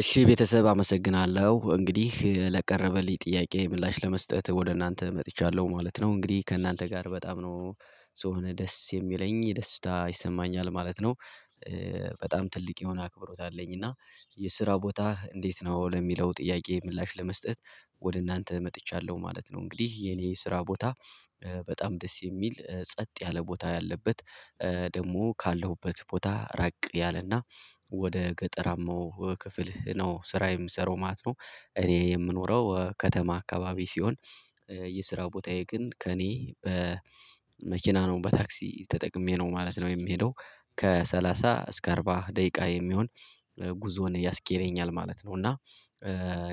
እሺ ቤተሰብ አመሰግናለሁ። እንግዲህ ለቀረበልኝ ጥያቄ ምላሽ ለመስጠት ወደ እናንተ መጥቻለሁ። ማለት ነው እንግዲህ ከእናንተ ጋር በጣም ነው ስሆነ ደስ የሚለኝ ደስታ ይሰማኛል። ማለት ነው በጣም ትልቅ የሆነ አክብሮት አለኝ። እና የስራ ቦታ እንዴት ነው? ለሚለው ጥያቄ ምላሽ ለመስጠት ወደ እናንተ መጥቻለሁ። ማለት ነው እንግዲህ የኔ ስራ ቦታ በጣም ደስ የሚል ጸጥ ያለ ቦታ ያለበት ደግሞ ካለሁበት ቦታ ራቅ ያለና ወደ ገጠራማው ክፍል ነው ስራ የሚሰራው። ማለት ነው እኔ የምኖረው ከተማ አካባቢ ሲሆን የስራው ቦታዬ ግን ከእኔ በመኪና ነው በታክሲ ተጠቅሜ ነው ማለት ነው የምሄደው። ከሰላሳ እስከ አርባ ደቂቃ የሚሆን ጉዞን ያስኬደኛል ማለት ነው እና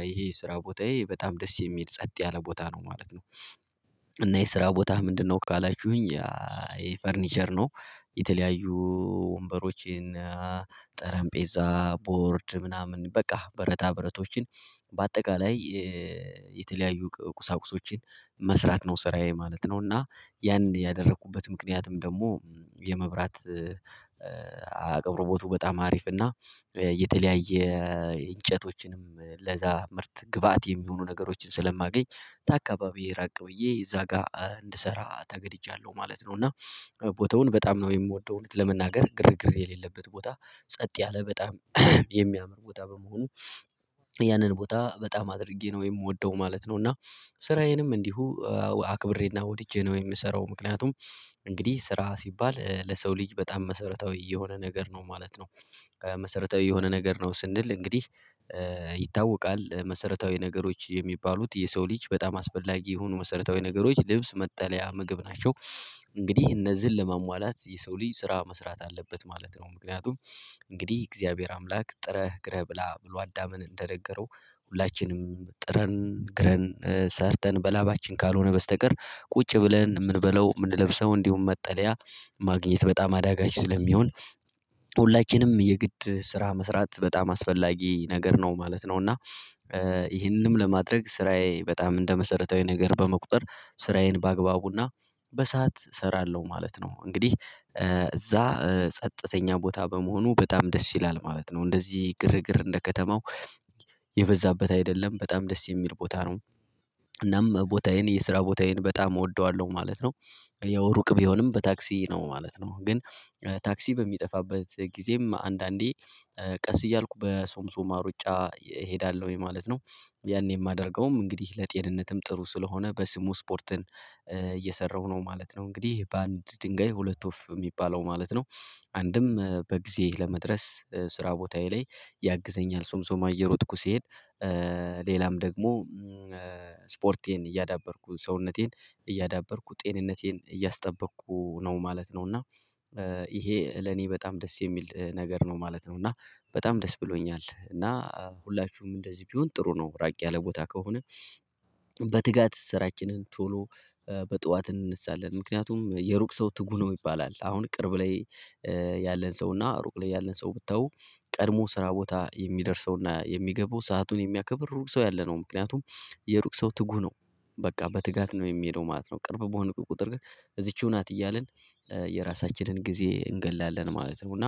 ይሄ ስራ ቦታዬ በጣም ደስ የሚሄድ ጸጥ ያለ ቦታ ነው። ማለት ነው እና የስራ ቦታህ ምንድነው? ካላችሁኝ ያ ይሄ ፈርኒቸር ነው። የተለያዩ ወንበሮችን፣ ጠረንጴዛ፣ ቦርድ ምናምን በቃ ብረታ ብረቶችን በአጠቃላይ የተለያዩ ቁሳቁሶችን መስራት ነው። ስራዬ ማለት ነው እና ያን ያደረኩበት ምክንያትም ደግሞ የመብራት አቅርቦቱ በጣም አሪፍ እና የተለያየ እንጨቶችንም ለዛ ምርት ግብአት የሚሆኑ ነገሮችን ስለማገኝ ከአካባቢ ራቅ ብዬ እዛ ጋር እንድሰራ ተገድጃለሁ። ማለት ነው እና ቦታውን በጣም ነው የምወደው። እውነት ለመናገር ግርግር የሌለበት ቦታ ጸጥ ያለ በጣም የሚያምር ቦታ በመሆኑ ያንን ቦታ በጣም አድርጌ ነው የምወደው። ማለት ነው እና ስራዬንም እንዲሁ አክብሬና ወድጄ ነው የምሰራው። ምክንያቱም እንግዲህ ስራ ሲባል ለሰው ልጅ በጣም መሰረታዊ የሆነ ነገር ነው። ማለት ነው መሰረታዊ የሆነ ነገር ነው ስንል? እንግዲህ ይታወቃል። መሰረታዊ ነገሮች የሚባሉት የሰው ልጅ በጣም አስፈላጊ የሆኑ መሰረታዊ ነገሮች ልብስ፣ መጠለያ፣ ምግብ ናቸው። እንግዲህ እነዚህን ለመሟላት የሰው ልጅ ስራ መስራት አለበት። ማለት ነው ምክንያቱም እንግዲህ እግዚአብሔር አምላክ ጥረህ ግረህ ብላ ብሎ አዳምን እንደነገረው ሁላችንም ጥረን ግረን ሰርተን በላባችን ካልሆነ በስተቀር ቁጭ ብለን የምንበለው የምንለብሰው እንዲሁም መጠለያ ማግኘት በጣም አዳጋች ስለሚሆን ሁላችንም የግድ ስራ መስራት በጣም አስፈላጊ ነገር ነው። ማለት ነው እና ይህንንም ለማድረግ ስራዬ በጣም እንደመሰረታዊ ነገር በመቁጠር ስራዬን በአግባቡና በሰአት እሰራለሁ። ማለት ነው እንግዲህ እዛ ጸጥተኛ ቦታ በመሆኑ በጣም ደስ ይላል። ማለት ነው እንደዚህ ግርግር እንደ ከተማው የበዛበት አይደለም። በጣም ደስ የሚል ቦታ ነው። እናም ቦታዬን የስራ ቦታዬን በጣም እወደዋለሁ። ማለት ነው ያው ሩቅ ቢሆንም በታክሲ ነው። ማለት ነው ግን ታክሲ በሚጠፋበት ጊዜም አንዳንዴ ቀስ እያልኩ በሶምሶማ ሩጫ እሄዳለሁኝ። ማለት ነው ያኔ የማደርገውም እንግዲህ ለጤንነትም ጥሩ ስለሆነ በስሙ ስፖርትን እየሰራሁ ነው። ማለት ነው እንግዲህ በአንድ ድንጋይ ሁለት ወፍ የሚባለው ማለት ነው። አንድም በጊዜ ለመድረስ ስራ ቦታዬ ላይ ያግዘኛል ሶምሶማ እየሮጥኩ ሲሄድ ሌላም ደግሞ ስፖርቴን እያዳበርኩ ሰውነቴን እያዳበርኩ ጤንነቴን እያስጠበቅኩ ነው። ማለት ነው እና ይሄ ለኔ በጣም ደስ የሚል ነገር ነው። ማለት ነው እና በጣም ደስ ብሎኛል። እና ሁላችሁም እንደዚህ ቢሆን ጥሩ ነው ራቅ ያለ ቦታ ከሆነ በትጋት ስራችንን ቶሎ በጠዋት እንነሳለን። ምክንያቱም የሩቅ ሰው ትጉ ነው ይባላል። አሁን ቅርብ ላይ ያለን ሰው እና ሩቅ ላይ ያለን ሰው ብትተው ቀድሞ ስራ ቦታ የሚደርሰውና የሚገባው ሰአቱን የሚያከብር ሩቅ ሰው ያለ ነው። ምክንያቱም የሩቅ ሰው ትጉ ነው በቃ በትጋት ነው የሚሄደው ማለት ነው ቅርብ በሆነ ቁጥር ግን እዚችው ናት እያልን የራሳችንን ጊዜ እንታገላለን። ማለት ነው እና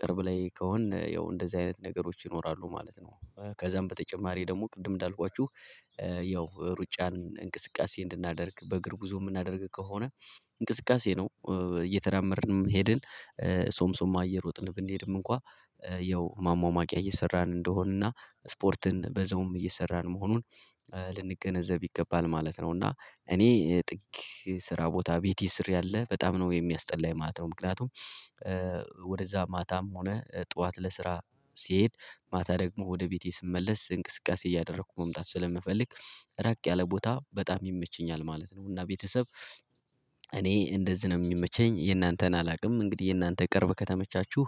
ቅርብ ላይ ከሆንን ያው እንደዚህ አይነት ነገሮች ይኖራሉ። ማለት ነው ከዛም በተጨማሪ ደግሞ ቅድም እንዳልኳችሁ ያው ሩጫን እንቅስቃሴ እንድናደርግ በእግር ጉዞ የምናደርግ ከሆነ እንቅስቃሴ ነው እየተዳመርንም ሄድን ሶምሶማ እየሮጥን ብንሄድም እንኳን ያው ማማሟቂያ እየሰራን እንደሆነና ስፖርትን በዛ ውም እየሰራን መሆኑን በ ልንገነዘብ ይገባል ማለት። እና እኔ ጥቅ ስራ ቦታ ቤት ስር ያለ በጣም ነው የሚያስጠላኝ። የማለት ነው ምክንያቱም ወደዛ ማታም ሆነ ጠዋት ለስራ ሲሄድ? ማታ ደግሞ ወደ ቤቴ ስመለስ እንቅስቃሴ እያደረኩ መምጣት ስለምፈልግ። ራቅ ያለ ቦታ በጣም ይመቸኛል። ማለት ነው እና ቤተሰብ እኔ እንደዚህ ነው የሚመቸኝ። የእናንተን አላውቅም እንግዲህ የእናንተ ቅርብ ከተመቻችሁ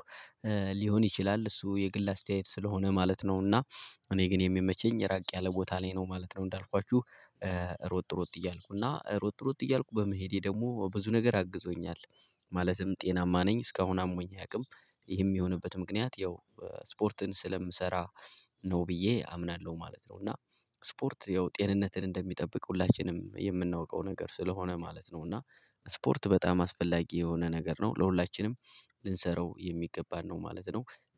ሊሆን ይችላል። እሱ የግል አስተያየት ስለሆነ ማለት ነውና እኔ ግን የሚመቸኝ እራቅ ያለ ቦታ ላይ ነው ማለት ነው እንዳልኳችሁ ሮጥ ሮጥ እያልኩ እና ሮጥ ሮጥ እያልኩ በመሄዴ ደግሞ ብዙ ነገር አግዞኛል። ማለትም ጤናማ ነኝ እስካሁን አሞኝ አያውቅም ይህም የሚሆንበት ምክንያት ያው ስፖርትን ስለምሰራ ነው ብዬ አምናለ። ማለት ነው እና ስፖርት ያው ጤንነትን እንደሚጠብቅ ሁላችንም የምናውቀው ነገር ስለሆነ ማለት ነው። እና ስፖርት በጣም አስፈላጊ የሆነ ነገር ነው። ለሁላችንም ልንሰራው የሚገባን ነው ማለት ነው።